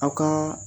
Aw ka